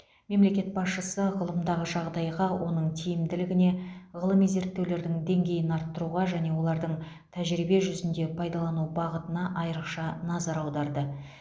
мемлекет басшысы ғылымдағы жағдайға оның тиімділігіне ғылыми зерттеулердің деңгейін арттыруға және олардың тәжірибе жүзінде пайдалану бағытына айрықша назар аударды